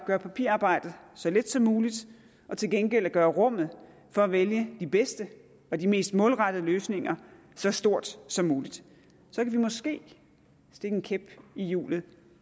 gøre papirarbejdet så let som muligt og til gengæld gøre rummet for at vælge de bedste og de mest målrettede løsninger så stort som muligt så kan vi måske stikke en kæp i hjulet